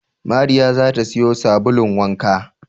Mariya za ta siyo sabulun wanka